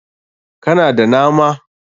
Ka na da nama?